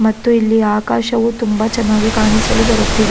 ಮತ್ತು ಇಲ್ಲಿ ಆಕಾಶವು ತುಂಬಾ ಚೆನ್ನಾಗಿ ಕಾಣಿಸಲು ಬರುತ್ತಿದೆ.